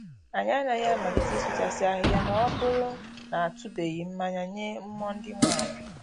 Anyị anaghị amalite ịsụchasị ahịhịa ma ọ bụrụ na a tụbeghị mmayị nye mmụọ ndị nwe ala